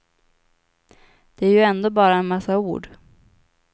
Det är ju ändå bara en massa ord.